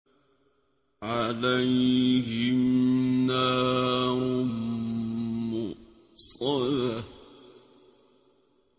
عَلَيْهِمْ نَارٌ مُّؤْصَدَةٌ